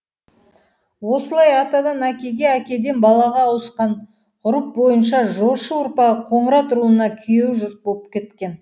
осылай атадан әкеге әкеден балаға ауысқан ғұрып бойынша жошы ұрпағы қоңырат руына күйеу жұрт боп кеткен